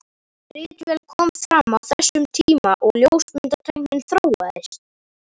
Ritvélin kom fram á þessum tíma og ljósmyndatæknin þróaðist.